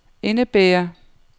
indebærer